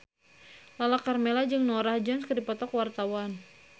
Lala Karmela jeung Norah Jones keur dipoto ku wartawan